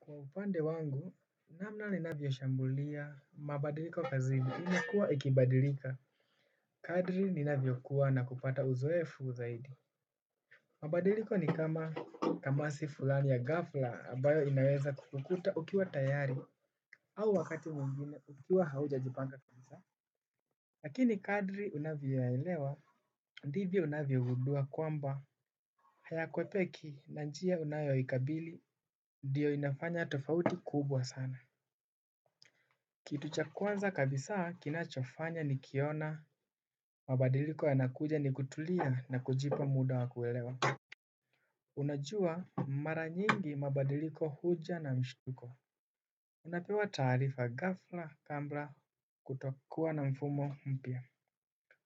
Kwa upande wangu, namna ninavyoshambulia, mabadiliko kazini imekuwa ikibadilika. Kadri ninavyokuwa na kupata uzoefu zaidi. Mabadiliko ni kama tamasi fulani ya ghafla ambayo inaweza kukuta ukiwa tayari au wakati mwingine ukiwa hauja jipanga kabisa. Lakini kadri unavyoyelewa, ndivyo unavyogundua kwamba haya kwepeki na njia unayoikabili ndiyo inafanya tofauti kubwa sana. Kitu cha kwanza kabisaa kinachofanya nikiona mabadiliko yanakuja ni kutulia na kujipa muda wa kuelewa. Unajua mara nyingi mabadiliko huja na mshutuko. Unapewa taarifa ghafla kabla kutokuwa na mfumo mpya.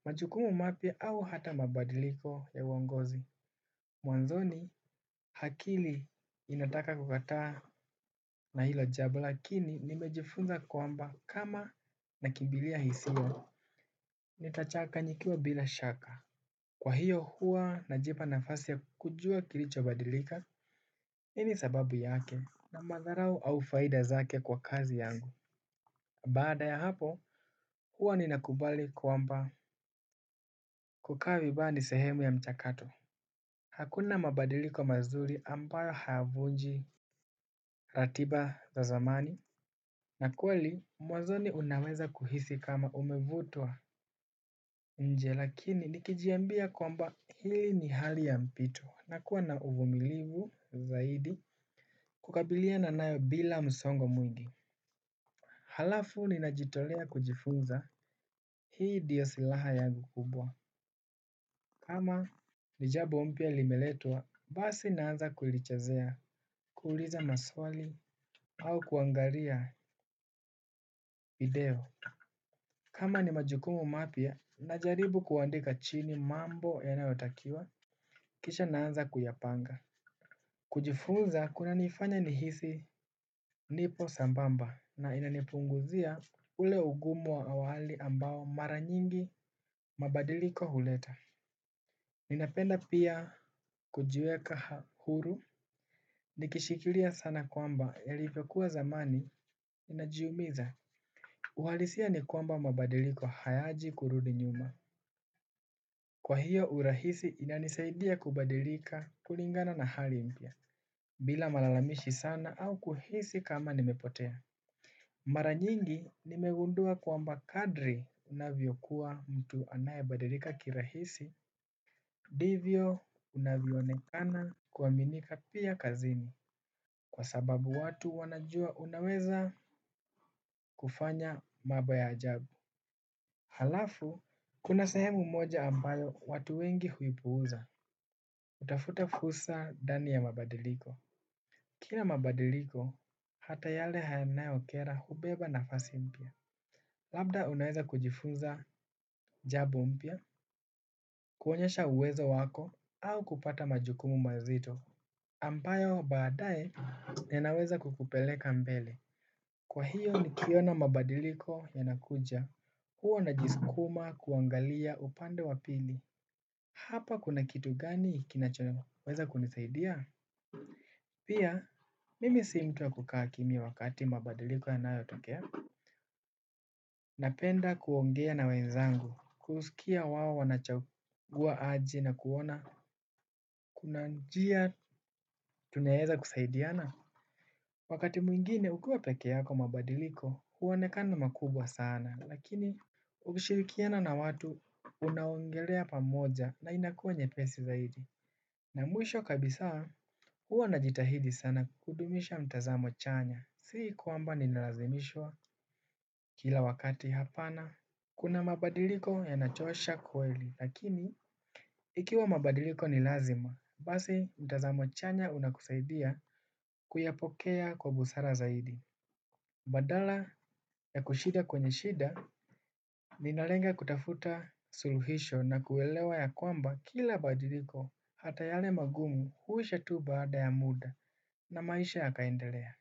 Majukumu mapya au hata mabadiliko ya uongozi. Mwanzoni akili inataka kukataa na hilo jambo lakini nimejifunza kwamba kama nakimbilia hisia nitachanganyikiwa bila shaka. Kwa hiyo huwa najipa nafasi ya kujuwa kilichobadilika. Ili sababu yake na madharau au faida zake kwa kazi yangu. Baada ya hapo huwa ninakubali kwamba kukaa vibaya ni sehemu ya mchakato hakuna mabadiliko mazuri ambayo hayavunji ratiba za zamani. Na kweli mwazoni unaweza kuhisi kama umevutwa nje. Lakini nikijiambia kwamba hili ni hali ya mpito. Nakuwa na uvumilivu zaidi kukabiliana nayo bila msongo mwingi alafu ninajitolea kujifunza hii ndio silaha yangu kubwa. Kama ni jambo mpya limeletwa basi naanza kulichezea kuuliza maswali au kuangalia video. Kama ni majukumu mapya najaribu kuandika chini mambo yanayo takiwa kisha naanza kuyapanga. Kujifunza kunanifanya nihisi nipo sambamba na inanipunguzia ule ugumu wa awali ambao mara nyingi mabadiliko huleta. Ninapenda pia kujiweka huru nikishikilia sana kwamba yalivyokuwa zamani inajiumiza. Uhalisia ni kwamba mabadiliko hayaji kurudi nyuma. Kwa hiyo urahisi inanisaidia kubadilika kulingana na hali impya bila malalamishi sana au kuhisi kama nimepotea. Mara nyingi nimegundua kwamba kadri unavyokuwa mtu anayebadilika kirahisi ndivyo unavyoonekana kuaminika pia kazini kwa sababu watu wanajua unaweza kufanya mambo ya ajabu alafu, kuna sehemu moja ambayo watu wengi huipuza hutafuta fursa ndani ya mabadiliko. Kila mabadiliko, hata yale yanayokera hubeba nafasi mpya. Labda unaweza kujifunza jambo mpya kuonyesha uwezo wako au kupata majukumu mazito ambayo baadaye yanawezabkukupelekanmbele. Kwa hiyo niliona mabadiliko yanakuja, huwa najisukuma kuangalia upande wapili. Hapa kuna kitu gani kinachoweza kunisaidia? Pia mimi sio mtu kukaa kimya wakati mabadiliko yanayotokea. Napenda kuongea na wenzangu kusikia wao wanachagua aje nakuona. Kuna njia tunweza kusaidiana. Wakati mwingine ukiwa peke yako mabadiliko huonekana makubwa sana. Lakini ukishirikiana na watu unaongelea pamoja na inakuwa nyepesi zaidi. Na mwisho kabisa huwa najitahidi sana kudumisha mtazamo chanya. Sii kwamba ninalazimishwa kila wakati hapana. Kuna mabadiliko yanachosha kweli. Lakini ikiwa mabadiliko nilazima basi mtazamo chanya unakusaidia kuyapokea kwa busara zaidi. Badala ya kushida kwenye shida. Ninalenga kutafuta suluhisho na kuelewa ya kwamba kila mabadiliko hata yale magumu huisha tu baada ya muda. Na maisha yakaendelea.